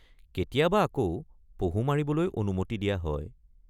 কেতিয়াবা আকৌ পহু মাৰিবলৈ অনুমতি দিয়া হয়।